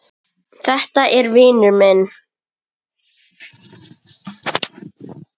Þetta var vinur minn.